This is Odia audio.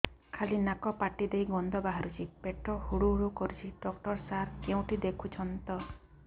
ଖାଲି ନାକ ପାଟି ଦେଇ ଗଂଧ ବାହାରୁଛି ପେଟ ହୁଡ଼ୁ ହୁଡ଼ୁ କରୁଛି ଡକ୍ଟର ସାର କେଉଁଠି ଦେଖୁଛନ୍ତ